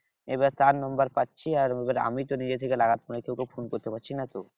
এবার তার number পাচ্ছি আর আমিতো নিজে থেকে লাগাতে মানে ওকে ফোন করতে পারছি না তো।